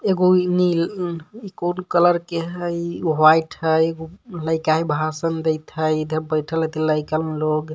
एगो इ-नही-इ-अ इ कौन कलर के हइ व्हाइट ह एगो हई काहे भाषण देथई इधर बईठलथी लइकन लोग.